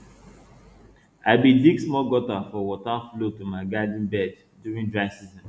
i bin dig small gutter for water flow to my garden bed during dry season